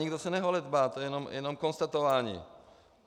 Nikdo se neholedbá, to je jenom konstatování.